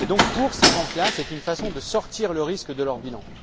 Pour ces banques, c'est une façon de sortir le risque de leur bilan.